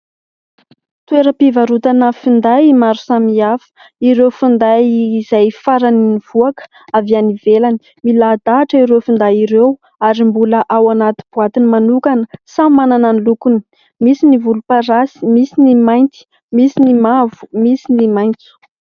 Toeram-pivarotana finday maro samihafa; ireo finday izay farany nivoaka avy any ivelany; milahadahatra ireo finday ireo ary mbola ao anaty boatiny manokana; samy manana ny lokony; misy ny volom-parasy, misy ny mainty, misy ny mavo, misy ny maitso.